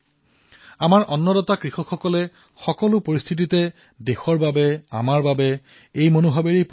আমাৰ অন্নদাতা কৃষকসকলে এই পৰিস্থিতিত দেশৰ বাবে আমাৰ সকলোৰে বাবে এই ভাৱনাৰ সৈতে পৰিশ্ৰম কৰে